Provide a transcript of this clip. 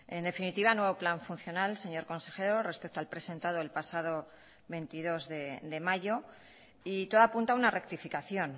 en definitiva nuevo plan funcional señor consejero respecto al presentado el pasado veintidós de mayo y todo apunta a una rectificación